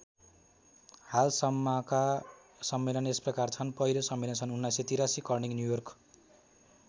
हालसम्मका सम्मेलन यसप्रकार छन् पहिलो सम्मेलन सन् १९८३ कर्निङ न्युयोर्क।